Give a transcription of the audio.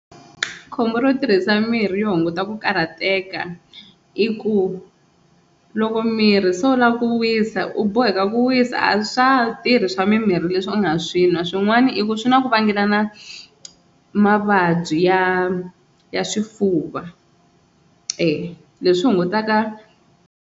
Khombo ro tirhisa mirhi yo hunguta ku karhateka i ku loko mirhi se wu lava ku wisa, u boheka ku wisa a swa ha tirhi swa mirhi leswi u nga swi nwa swin'wana i ku swi na ku vangelana mavabyi ya ya swifuva e leswi hungutaka.